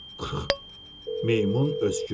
"Qırrx," meymun öskürdü.